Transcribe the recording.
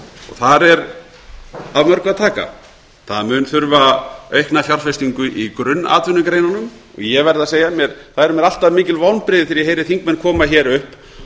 þar er af mörgu að taka það mun þurfa aukna fjárfestingu í grunnatvinnugreinunum ég verð að segja að það eru mér alltaf mikil vonbrigði þegar þingmenn koma hér upp